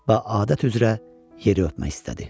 Və adət üzrə yeri öpmək istədi.